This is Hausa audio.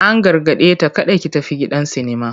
An gargade ta "kada ki tafi gidan sinima!"